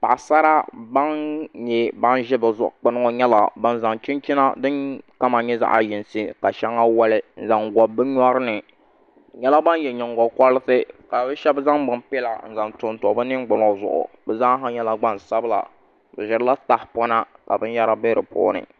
Paɣasara bin ʒɛ palli zuɣu ŋɔ nyɛla bin zaŋ chinchina din kama nyɛ zaɣ yinsi ka shɛŋa woli n zaŋ gobi ni nyori ni bi nyɛla ban yɛ nyingokoriti ka shab zaŋ pin piɛla n zaŋ tonto bi ningbuno zuɣu bi zaaha nyɛla gbansabila bi ʒirila tahapona ka binyɛra bɛ di puuni